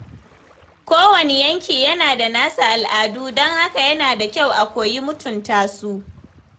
Kowane yanki yana da nasa al’adu, don haka yana da kyau a koyi mutunta su.